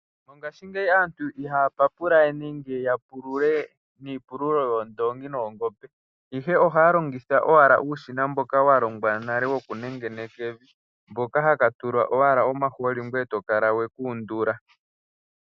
Mongashingeyi aantu ihaya papula we nenge ya pulule niipululo yoondongi nenge yoongombe, ihe ohaya longitha owala uushina mboka wa longwa nale wokunengeneka evi, hoka haka tulwa owala omahooli ngoye to kala we ka undula.